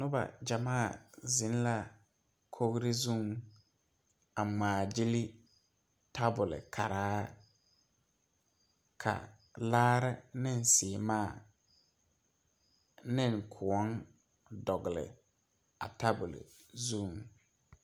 Noba gyamaa zeŋ la kogri zuŋ a ŋmaa gyilli tabolkaraa ka laare ne seemaa ne kõɔ dogle a tabol zuŋ.